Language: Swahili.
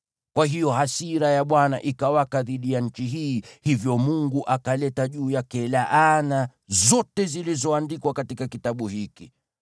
Kwa hiyo hasira ya Bwana ikawaka dhidi ya nchi hii, hivyo Mungu akaleta juu yake laana zote zilizoandikwa katika kitabu hiki.